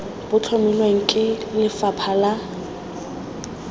bo tlhomilweng ke lefapha la